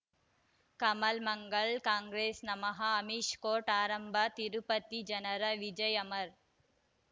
ಕಮಲ್ ಮಂಗಳ್ ಕಾಂಗ್ರೆಸ್ ನಮಃ ಅಮಿಷ್ ಕೋರ್ಟ್ ಆರಂಭ ತಿರುಪತಿ ಜನರ ವಿಜಯ ಅಮರ್